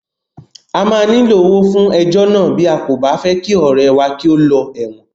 A máa nílò owó fún ejọ́ náà bí a kò bá fẹ́ kí ọ̀rẹ́ẹ wá kí ó lọ ẹ̀wọ̀n.